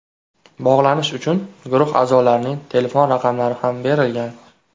Bog‘lanish uchun guruh a’zolarining telefon raqamlari ham berilgan.